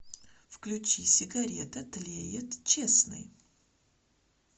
включи сигарета тлеет честный